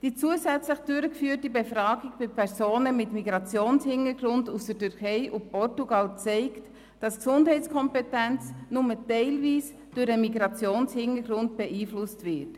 Die zusätzlich durchgeführte Befragung bei Personen mit Migrationshintergrund aus der Türkei und aus Portugal zeigt, dass die Gesundheitskompetenz nur teilweise durch den Migrationshintergrund beeinflusst wird.